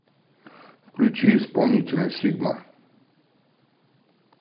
включи исполнителя сигма